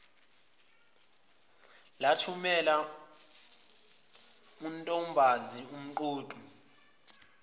lathumela untombazi umqoqi